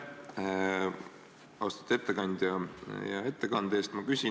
Aitäh, austatud ettekandja, hea ettekande eest!